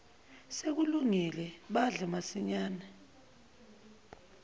sekulungile badle masinyane